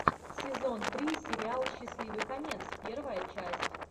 сезон три сериал счастливый конец первая часть